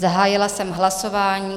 Zahájila jsem hlasování.